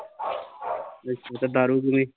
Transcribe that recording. ਅੱਛਾ ਤੇ ਦਾਰੂ ਦੂਰੀ